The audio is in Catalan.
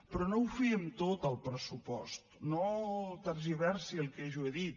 però no ho fiem tot al pressupost no tergiversi el que jo he dit